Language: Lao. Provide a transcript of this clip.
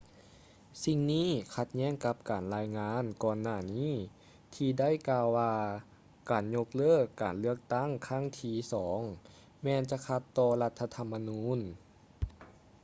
ສິ່ງນີ້ຂັດແຍ້ງກັບການລາຍງານກ່ອນໜ້ານີ້ ທີ່ໄດ້ກ່າວວ່າການຍົກເລີກການເລືອກຕັ້ງຄັ້ງທີ່ສອງແມ່ນຈະຂັດຕໍ່ລັດຖະທຳມະນູນ